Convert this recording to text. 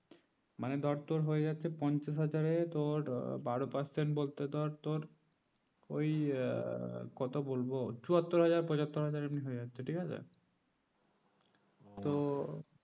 মানে ধর তো হয়ে যাচ্ছে পঞ্চাশ হাজারে তোর বারো percent বলতে ধর ওই আর কত বলবো চুয়াত্ত হাজার পচ্চাতো হাজার এমনি হয়ে যাচ্ছে ঠিক আছে তো